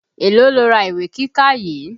Èló lo ra ìwé kíkà yìí.